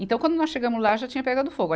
Então, quando nós chegamos lá, já tinha pegado fogo.